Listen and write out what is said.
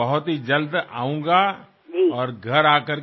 কিন্তু খুব তাড়াতাড়িই আমি আসব